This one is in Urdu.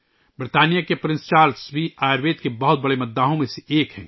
برطانیہ کے پرنس چارلس بھی آیوروید کے بڑے مداحوں میں سے ایک ہیں